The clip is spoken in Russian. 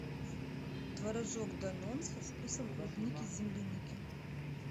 творожок данон со вкусом клубники земляники